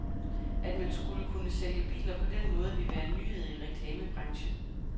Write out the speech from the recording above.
At man skulle kunne sælge biler på den måde vil være en nyhed i reklamebranchen.